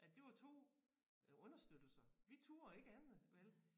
At det var 2 øh understøttelser vi turde ikke andet vel